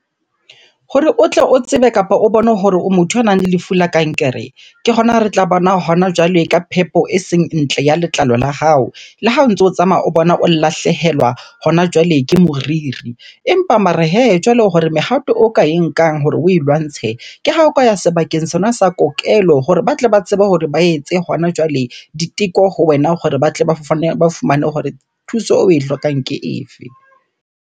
Hore o tle o tsebe kapa o bone hore o motho ya nang le lefu la kankere, ke hona re tla bona hona jwale ka phepo e seng ntle ya letlalo la hao. Le ha o ntso o tsamaya o bona o lahlehelwa hona jwale ke moriri. Empa mare hee, jwale hore mehato o ka e nkang hore oe lwantshe. Ke ha o ka ya sebakeng sona sa kokelo hore ba tle ba tsebe hore ba etse hona jwale diteko ho wena hore ba tle ba fane, ba fumane hore thuso oe hlokang ke e fe?